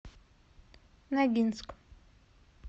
ногинск